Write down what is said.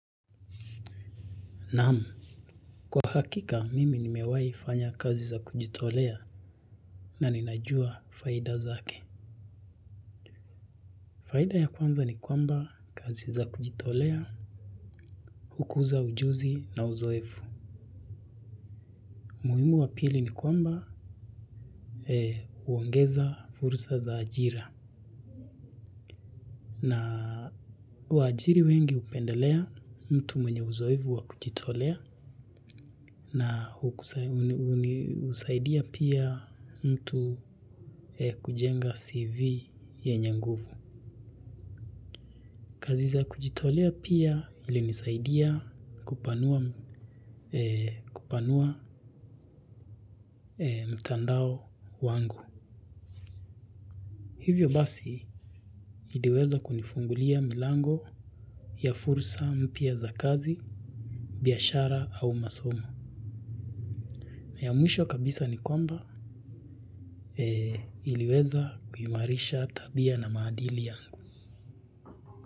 Naam. Kwa hakika, mimi nimewahi fanya kazi za kujitolea na ninajua faida zake. Faida ya kwanza ni kwamba kazi za kujitolea, hukuza ujuzi na uzoefu. Umuhimu wa pili ni kwamba huongeza fursa za ajira. Na waajiri wengi hupendelea mtu mwenye uzoefu wa kujitolea na husaidia pia mtu kujenga CV yenye nguvu. Kazi za kujitolea pia ilinisaidia kupanua mtandao wangu. Hivyo basi iliweza kunifungulia milango ya fursa mpya za kazi, biashara au masomo. Ya mwisho kabisa ni kwamba niliweza kuimarisha tabia na maadili yangu.